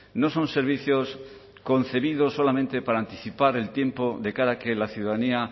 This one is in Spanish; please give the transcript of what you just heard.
no son servicios concebidos solamente para anticipar el tiempo de cara a que la ciudadanía